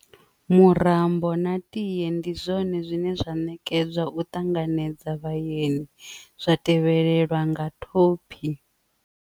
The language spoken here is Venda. Murambo na ta ndi zwone zwine zwa nekedzwa u ṱanganedza vhaeni zwa tevhelela nga thophi.